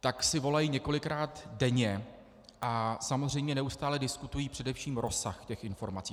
Tak si volají několikrát denně a samozřejmě neustále diskutují především rozsah těch informací.